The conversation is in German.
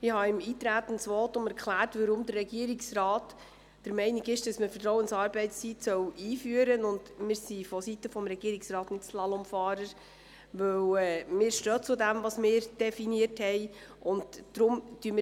Ich habe im Eintretensvotum erklärt, weshalb der Regierungsrat der Meinung ist, man solle die Vertrauensarbeitszeit